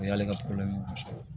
O y'ale ka muso ye